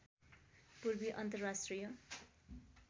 पूर्वी अन्तर्राष्ट्रिय